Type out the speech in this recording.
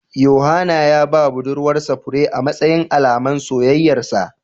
Yohana ya ba budurwar sa fure amatsayin Alaman soyayyar sa